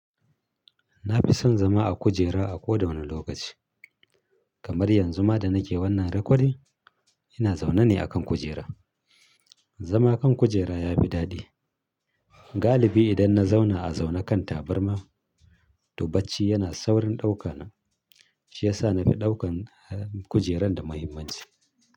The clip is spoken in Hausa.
Na fi son zama a kujera a kowane lokaci. Kamar yanzu ma da nake wannan rakodin, l ina zaune ne a kan kujera. Zama a kan kujera ya fi daɗi. Galibi idan na zauna a zaune kan tabarma, to bacci yana saurin ɗauka ni, shi ya sa na fi ɗaukar kujeran da muhimmanci.